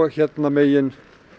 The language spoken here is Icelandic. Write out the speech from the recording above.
hérna megin